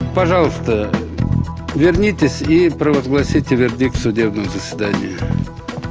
пожалуйста вернитесь и провозгласите вердикт судебного заседания